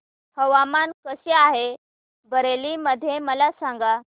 हवामान कसे आहे बरेली मध्ये मला सांगा